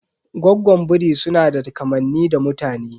Goggon biri sunada kamanni da mutane.